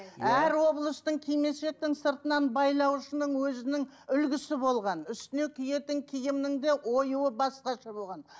әр облыстың кимешектің сыртынан байлауышының өзінің үлгісі болған үстіне киетін киімнің де оюы басқаша болған